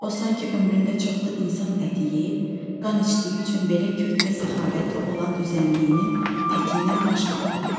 O sanki ömründə çoxlu insan əti yeyib, qan içdiyi üçün belə kök və səxavətli olan düzənliyinin təkinnən baş qaldırırdı.